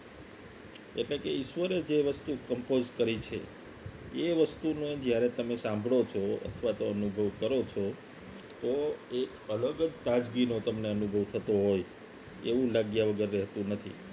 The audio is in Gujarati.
એટલે કે ઈશ્વરે જે વસ્તુ કમ્પોઝ કરી છે એ વસ્તુને જ્યારે તમે સાંભળો છો અથવા તો અનુભવ કરો છો તો એ અલગ જ તાજગીનો તમને અનુભવ થતો હોય એવું લાગ્યા વગર રહેતું નથી